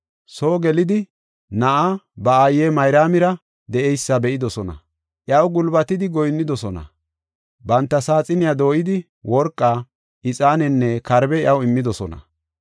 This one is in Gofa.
Soo gelidi na7aa ba aaye Mayraamira de7eysa be7idosona. Iyaw gulbatidi goyinnidosona. Banta saaxiniya dooyidi worqa, ixaanenne karbe iyaw immidosona.